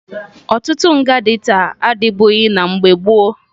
Ọtụtụ nga dị taa adịbughi na mgbe gboo